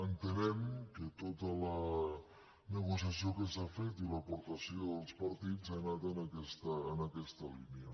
entenem que tota la negociació que s’ha fet i l’aportació dels partits ha anat en aquesta línia